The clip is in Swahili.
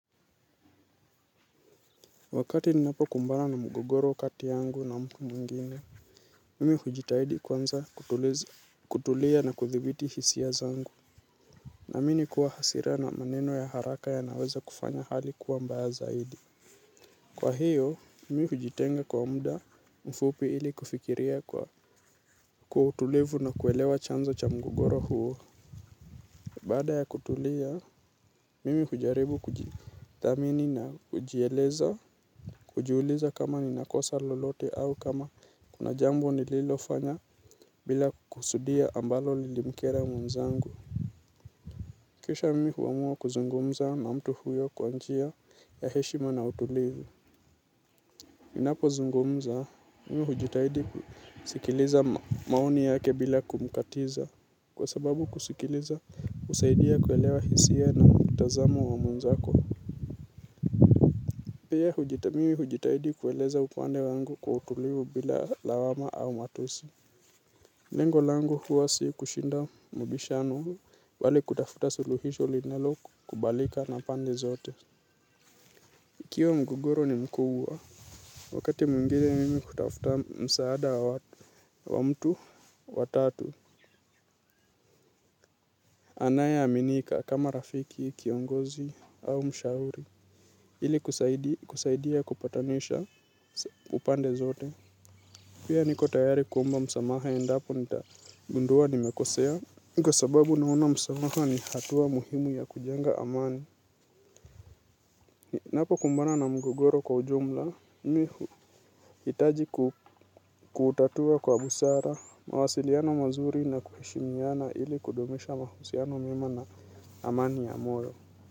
Wakati ninapo kumbana na mgogoro kati yangu na mku mwingine Mimi hujitahidi kwanza kutuliza. Kutulia na kuthibiti hisia zangu. Na mini kuwa hasira na maneno ya haraka ya naweza kufanya hali kuwa mbaya zaidi. Kwa hiyo, mimi hujitenga kwa umda mfupi ili kufikiria kwa kutulevu na kuelewa chanza cha mgogoro huo. Bada ya kutulia, mimi hujaribu kuji thamini na kujieleza, kujiuliza kama ni nakosa lolote au kama kuna jambo ni lilo fanya bila kusudia ambalo lilimkera mwenzangu. Kisha mimi huamua kuzungumza na mtu huyo kwa njia ya heshima na utulivu. Minapo zungumza, mimi hujitahidi kusikiliza maoni yake bila kumkatiza. Kwa sababu kusikiliza usaidia kuelewa hisia na mtazamo wa mwenzako. Pia hujithamini hujitahidi kueleza upande wangu kwa utuliu bila lawama au matusi. Lengo langu huwa si kushinda mbishano bali kutafuta suluhisho linaloku kubalika na pande zote. Ikiwa mgogoro ni mkubwa, wakati mwinginee mimi kutafuta msaada wa mtu, wa tatu, anaya aminika kama rafiki, kiongozi au mshauri, ili kusaidia kupatanisha upande zote. Pia niko tayari kuomba msamaha endapo nitagundua nimekosea. Niko sababu naona msamaha ni hatua muhimu ya kujenga amani. Napo kumbana na mgogoro kwa ujumla, mihu hitaji kutatua kwa busara, mawasiliano mazuri na kuheshimiyana ili kudumisha mahusiano mema na amani ya moyo.